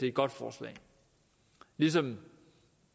et godt forslag ligesom